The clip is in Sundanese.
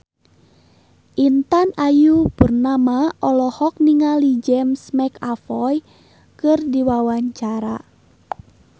Intan Ayu Purnama olohok ningali James McAvoy keur diwawancara